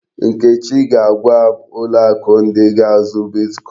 Nkechi ga-agwa m ụlọ akụ ndị ga-azụ bitkọin.